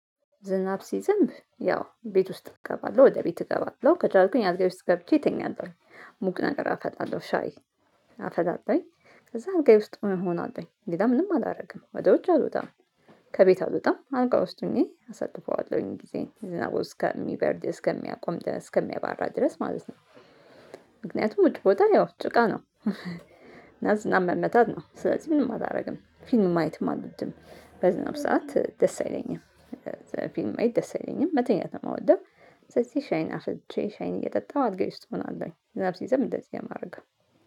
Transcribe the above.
ዝናብ ሲዘንብ ያው ቤት ውስጥ እገባለሁ ወደ ቤት እገባለሁ ከቻልኩኝ አለጋዬ ውስጥ ገብቼ እተኛለሁ ሙቅ ነገር አጠጣለሁ ሻይ አፈላለሁኝ ከዛ አልጋዬ ውስጥ እሆናለሁኝ ሌላ ምንም አላደርግም ወደ ውጭ አልወጣም ከቤት አለወጣም አልጋ ውስጥ ሆኜ አሳልፈዋለሁኝ ጊዜ ዝናቡ እስከ ሚበርድ እስከሚያቆም እስከሚያባራ ድረስ ማለት ነው። ምክንያቱም ውጭ ብወጣ ያው ጭቃ ነው። እና ዝናብ መመታት ነው ስለዚህ ምንም አታደርግም ፊልም ማየትም አልወድም በዝናብ ሰዓት ደስ አይለኝም። ፊልም ማየት ደስ አይለኝም መተኛት ነው አመወደው። ስለዚህ ሻይን አፍልቼ ሻይን እየጠጣሁ አልጋዬ ውስጥ እሆናለኝ ዝናብ ሲዘብ እንደዚህ የማረገው